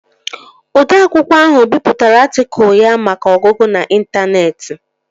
Odee akwụkwọ ahụ bipụtara atịkụl ya maka ọgụgụ n'intaneeti